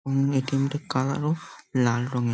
উম ATM -টা colour ও লাল রঙের ।